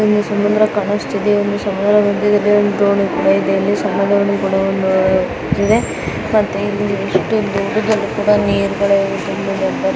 ಸಮುದ್ರ ಕಾಣಸ್ತಿದೆ. ಸಮುದ್ರ ಮಧ್ಯದಲ್ಲಿ ಒಂದು ದೋಣಿ ಕೂಡಾ ಇದೆ. ಇಲ್ಲಿ ಸಮುದ್ರ ಕೂಡಾ ಇದೆ. ಮತ್ತೆ ಇಲ್ಲಿ ಎಷ್ಟು ದೊಡ್ಡದು ಒಂದು ಕೂಡ ನೀರ್ಗಲು --